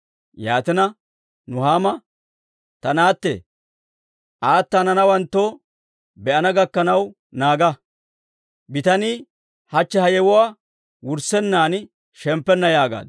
Yaatina, Nuhaama, «Ta naatte, ayde hananawentto be'ana gakkanaw naaga. Bitanii hachche ha yewuwaa wurssennan shemppenna» yaagaaddu.